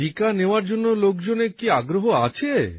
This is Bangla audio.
টিকা নেওয়ার জন্য লোকজনের কি আগ্রহ আছে